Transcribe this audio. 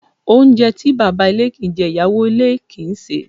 Oúnjẹ to baba ilé kin ń jẹ, iyawo ilé kin ń sẹ̀